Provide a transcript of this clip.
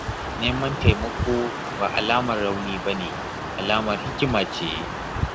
Neman taimako ba alamar rauni ba ne, alamar hikima ce.